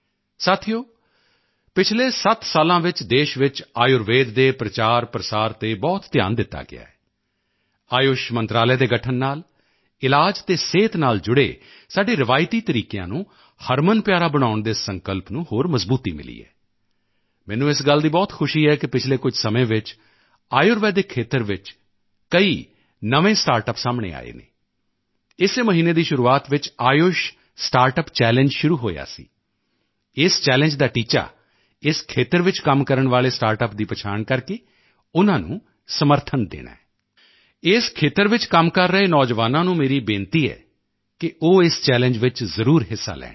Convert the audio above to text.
ਸਾਥੀਓ ਪਿਛਲੇ 7 ਸਾਲਾਂ ਵਿੱਚ ਦੇਸ਼ ਚ ਆਯੁਰਵੇਦ ਦੇ ਪ੍ਰਚਾਰਪ੍ਰਸਾਰ ਤੇ ਬਹੁਤ ਧਿਆਨ ਦਿੱਤਾ ਗਿਆ ਹੈ ਆਯੁਸ਼ ਮੰਤਰਾਲੇ ਦੇ ਗਠਨ ਨਾਲ ਇਲਾਜ ਅਤੇ ਸਿਹਤ ਨਾਲ ਜੁੜੇ ਸਾਡੇ ਰਵਾਇਤੀ ਤਰੀਕਿਆਂ ਨੂੰ ਹਰਮਨਪਿਆਰਾ ਬਣਾਉਣ ਦੇ ਸੰਕਲਪ ਨੂੰ ਹੋਰ ਮਜ਼ਬੂਤੀ ਮਿਲੀ ਹੈ ਮੈਨੂੰ ਇਸ ਗੱਲ ਦੀ ਬਹੁਤ ਖੁਸ਼ੀ ਹੈ ਕਿ ਪਿਛਲੇ ਕੁਝ ਸਮੇਂ ਵਿੱਚ ਆਯੁਰਵੇਦਿਕ ਖੇਤਰ ਵਿੱਚ ਵੀ ਕਈ ਨਵੇਂ ਸਟਾਰਟਅੱਪ ਸਾਹਮਣੇ ਆਏ ਹਨ ਇਸੇ ਮਹੀਨੇ ਦੀ ਸ਼ੁਰੂਆਤ ਵਿੱਚ ਆਯੁਸ਼ ਸਟਾਰਟਅੱਪ ਚੈਲੰਜ ਸ਼ੁਰੂ ਹੋਇਆ ਸੀ ਇਸ ਚੈਲੰਜ ਦਾ ਟੀਚਾ ਇਸ ਖੇਤਰ ਵਿੱਚ ਕੰਮ ਕਰਨ ਵਾਲੇ ਸਟਾਰਟਅੱਪਸ ਦੀ ਆਈਡੈਂਟੀਫਾਈ ਕਰਕੇ ਉਨ੍ਹਾਂ ਨੂੰ ਸਪੋਰਟ ਕਰਨਾ ਹੈ ਇਸ ਖੇਤਰ ਵਿੱਚ ਕੰਮ ਕਰ ਰਹੇ ਨੌਜਵਾਨਾਂ ਨੂੰ ਮੇਰੀ ਬੇਨਤੀ ਹੈ ਕਿ ਉਹ ਇਸ ਚੈਲੰਜ ਵਿੱਚ ਜ਼ਰੂਰ ਹਿੱਸਾ ਲੈਣ